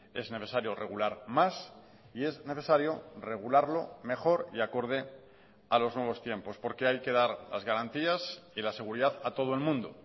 es necesario regular más y es necesario regularlo mejor y acorde a los nuevos tiempos porque hay que dar las garantías y la seguridad a todo el mundo